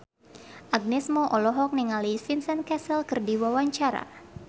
Agnes Mo olohok ningali Vincent Cassel keur diwawancara